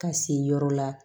Ka se yɔrɔ la